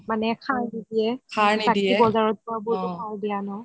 মানে সাৰ নিদিয়ে